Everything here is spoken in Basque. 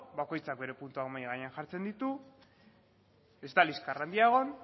bakoitzak bere puntuan mahai gainean jartzen ditu ez da liskar handia egon